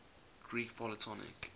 greek polytonic